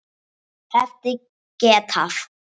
Hefði getað.